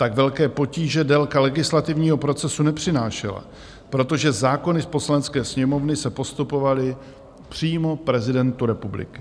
Tak velké potíže délka legislativního procesu nepřinášela, protože zákony z Poslanecké sněmovny se postupovaly přímo prezidentu republiky.